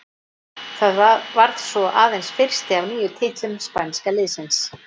Það varð svo aðeins fyrsti af níu titlum spænska liðsins.